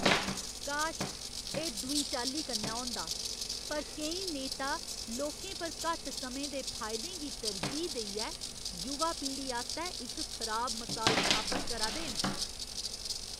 काश, एह् दूई चाल्ली कन्नै होंदा, पर केईं नेता लोकें पर घट्ट समें दे फायदें गी तरजीह् देइयै युवा पीढ़ी आस्तै इक खराब मसाल स्थापत करा दे न।